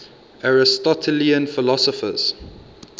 aristotelian philosophers